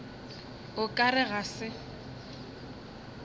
o ka re ga se